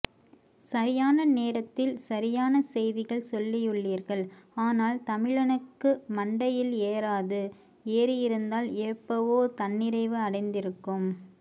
சரியான நேரத்தில் சரியான செய்திகள் சொல்லியுள்ளீர்கள் ஆனால் தமிழனுக்கு மண்டைல ஏறாது ஏறியிருந்தால் ஏப்பவோ தன்னிறைவு அடைந்திருக்கும்